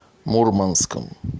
мурманском